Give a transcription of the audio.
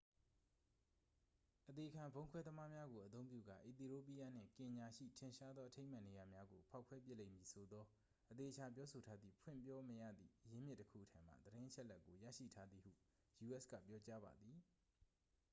"အသေခံဗုံးခွဲသမားများကိုအသုံးပြုကာ အီသီရိုးပီးယားနှင့် ကင်ညာရှိ "ထင်ရှားသောအထိမ်းအမှတ်နေရာများ" ကို ဖောက်ခွဲပစ်လိမ့်မည်ဆိုသော အသေအချာပြောဆိုထားသည့် ဖွင့်ပြောမရသည့်ရင်းမြစ်တစ်ခုထံမှ သတင်းအချက်အလက်ကို ရရှိထားသည်ဟု u.s. က ပြောကြားပါသည်။